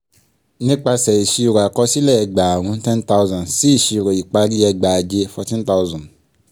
nípasẹ̀ ìṣírò àkọsílẹ̀ ẹgbàárún ten thousand sí ìṣírò ìparí ẹgbàáje fourteen thousand